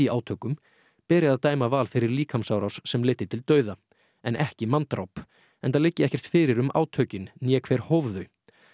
átökum beri að dæma Val fyrir líkamsárás sem leiddi til dauða en ekki manndráp enda liggi ekkert fyrir um átökin né hver hóf þau